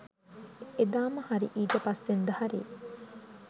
එදාම හරි ඊට පස්සෙන්ද හරි